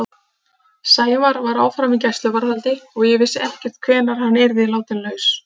Sævar var áfram í gæsluvarðhaldi og ég vissi ekkert hvenær hann yrði látinn laus.